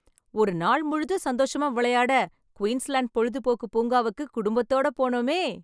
ஒருநாள் முழுதும் சந்தோஷமா விளையாட, குயின்ஸ்லேண்ட் பொழுதுபோக்கு பூங்காவுக்கு, குடும்பத்தோடு போனோமே...